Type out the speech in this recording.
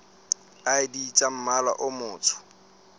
id tsa mmala o motsho